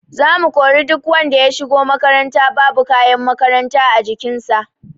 Za mu kori duk wanda ya shigo makaranta babu kayan makaranta a jikin sa